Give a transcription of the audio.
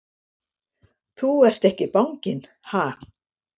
Þú ert ekki banginn, ha!